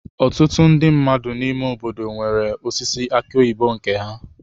Ọtụtụ ndị mmadụ n'ime obodo nwere osisi aki oyibo nke ha.